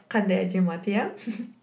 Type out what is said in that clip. қандай әдемі ат иә